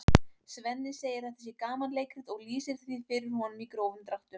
Svenni segir að þetta sé gamanleikrit og lýsir því fyrir honum í grófum dráttum.